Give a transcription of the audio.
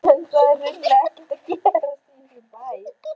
En það er hreinlega ekkert að gerast í þessum bæ.